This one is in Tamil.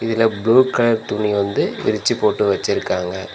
இதுல ப்ளூ கலர் துணி வந்து விரிச்சு போட்டு வெச்சிருக்காங்க.